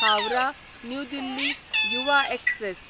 Howrah new Delhi Yuva express